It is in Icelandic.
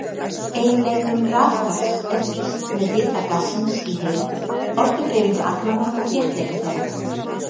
Eiginleikum rafgass er lýst með hita gassins í heild, orkudreifingu agnanna og þéttleika þeirra.